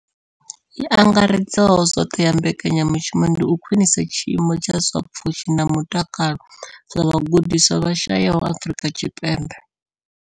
I angaredzaho zwoṱhe ya mbekanya mushumo ndi u khwinisa tshiimo tsha zwa pfushi na mutakalo zwa vhagudiswa vha shayesaho Afrika Tshipembe.